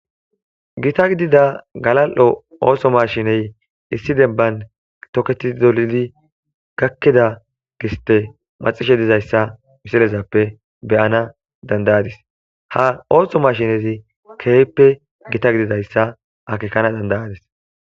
Gita gidida galal,o oohsho mashiney issi debban toketi dolidi gakkida giste maxishe dizayssa misilezappe beyana dandayadis ha ooso mashinezi keeyppe gita gididayssa akekana dandayadis.